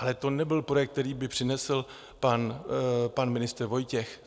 Ale to nebyl projekt, který by přinesl pan ministr Vojtěch.